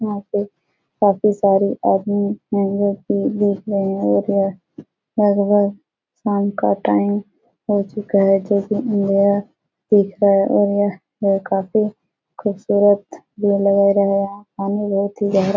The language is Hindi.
यहाँ पे काफी सारे आदमी हैं जोकि देखने आये हैं और यह लगभग शाम का टाइम हो चूका है जोकि अँधेरा दिख रहा है और यह काफी खूबसूरत ये नजारा पानी बहुत ही गहरा --